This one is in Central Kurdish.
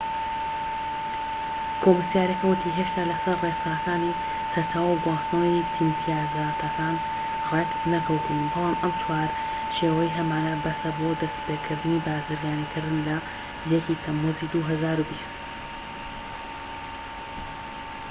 کۆمسیارەکە ووتی هێشتا لە سەر ڕێساکانی سەرچاوە و گواستنەوەی ئیمتیازاتەکان ڕێک نەکەوتووین بەڵام ئەم چوارچێوەیەی هەمانە بەسە بۆ دەستپێكردنی بازرگانیکردن لە 1ی تەموزی 2020